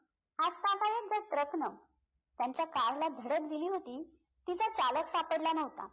आतापर्यंत truck नं त्यांच्या car ला धडक दिली होती तिचा चालक सापडला नवता